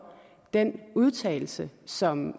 den udtalelse som